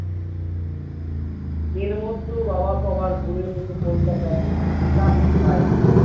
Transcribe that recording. এর মধ্যেও বাবা কবার ঘুরে এসেছে কলকাতায় চাকরি হইনি।